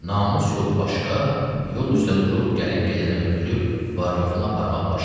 namus yolu başqa, yol üstə durub gəlib-gedəni öldürüb var-yoxunu aparmaq başqa.